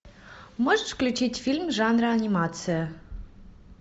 можешь включить фильм жанра анимация